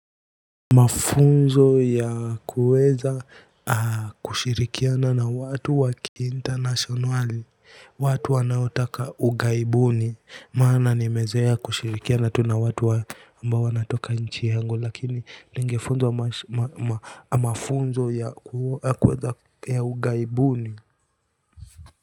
Mafunzo ya kuweza kushirikiana na watu wakiinternationali watu wanaotaka ugaibuni maana nimezoea kushirikiana tu na watu ambao wanatoka nchi yangu lakini ningefunzwa mafunzo ya kuweza ya ugaibuni.